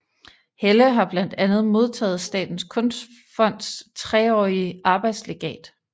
Helle har blandt andet modtaget Statens Kunstfonds treårige arbejdslegat